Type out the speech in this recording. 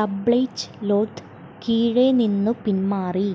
tablecloth കീഴെ നിന്നു പിന്മാറി